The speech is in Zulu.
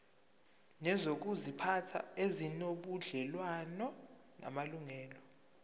nezokuziphatha ezinobudlelwano namalungelo